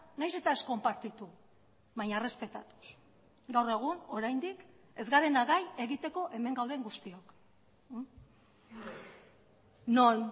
nahiz eta ez konpartitu baina errespetatuz gaur egun oraindik ez garena gai egiteko hemen gauden guztiok non